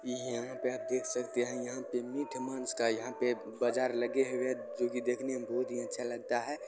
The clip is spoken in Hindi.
यहाँ पे आप देख सकते है यहाँ पे मीट माँस का यहाँ पे बाजार लगे हुए है जो की देखने मे बहुत अच्छा लगता है।